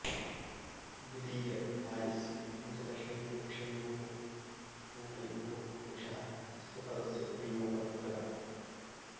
द्वितीयाध्यायस्य पञ्चदशैकविंशयोः श्लोकयोः पुरुषः इत्यस्य पदस्य उपयोगः कृतः